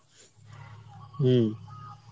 হম